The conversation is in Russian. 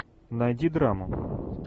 найди драму